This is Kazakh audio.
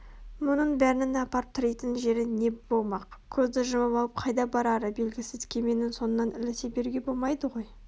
мұның бәрінің апарып тірейтін жері не болмақ көзді жұмып алып қайда барары белгісіз кеменің соңынан ілесе беруге болмайды ғой